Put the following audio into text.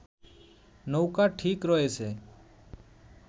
নৌকা ঠিক রয়েছে